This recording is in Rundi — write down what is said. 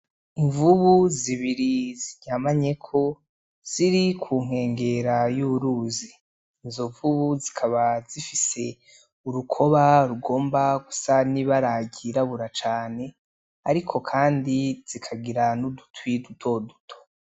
Imvubu zibiri ziryamanyeko ziri ku nkengera y'uruzi, izo mvubu zikaba zifise urukoba rugomba gusa n'ibara ryirabura cane ariko kandi zikagira n'udutwi dutoduto.